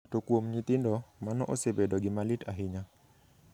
To kuom nyithindo, mano osebedo gima lit ahinya.